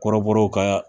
Kɔrɔbɔrɔw ka